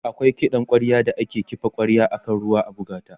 akwai kiɗan kwarya da ake kifa kwarya akan ruwa a buga t